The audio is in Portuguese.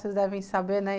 Vocês devem saber, né?